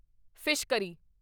fish curry